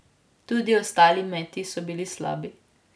Tudi ostali meti so bili slabi.